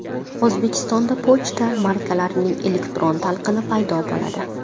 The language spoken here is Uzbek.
O‘zbekistonda pochta markalarining elektron talqini paydo bo‘ladi.